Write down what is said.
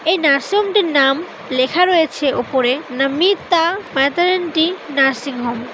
এই নার্সিংহোম - টির নাম লেখা রয়েছে ওপরে নামিতা ম্যাটারানটি নার্সিংহোম ।